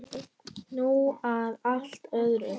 Nú að allt öðru.